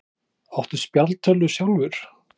Hödd Vilhjálmsdóttir: Áttu spjaldtölvu sjálfur?